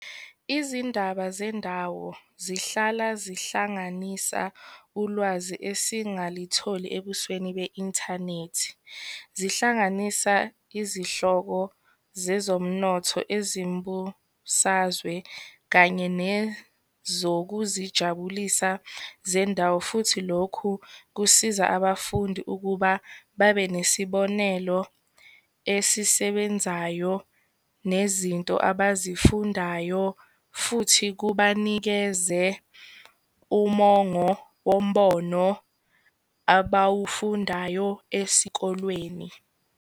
Izindaba zendawo zihlala zihlanganisa ulwazi esingalitholi ebusweni be-inthanethi. Zihlanganisa izihloko zezomnotho, ezembusazwe, kanye nezokuzijabulisa zendawo. Futhi lokhu kusiza abafundi ukuba babe nesibonelo esisebenzayo, nezinto abazifundayo futhi kubanikeze umongo wombono abawufundayo esikolweni.